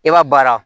I b'a baara